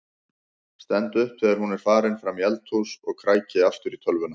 Stend upp þegar hún er farin fram í eldhús og kræki aftur í tölvuna.